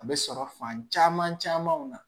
A bɛ sɔrɔ fan caman caman na